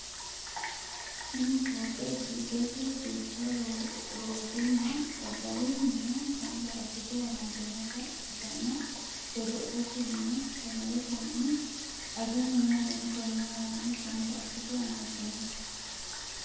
tini fooqe giddose duucha loosunna daddalu mine gamba assite amadinnota ikkitanna, godo'lete mine, sagalete mine ,Agu mine w.k.l gamba assite amadinno.